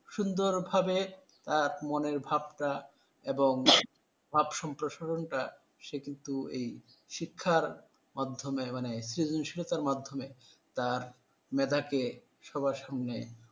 সুন্দরভাবে এক মনের ভাবটা এবং ভাবসম্প্রসারণটা সে কিন্তু এই শিক্ষার মাধ্যমে মানে সৃজনশীলতার মাধ্যমে তার মেধাকে সবার সামনে